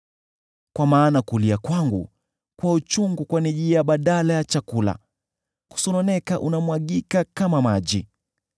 Kwa maana kulia kwangu kwa uchungu kwanijia badala ya chakula; kusononeka kwangu kunamwagika kama maji.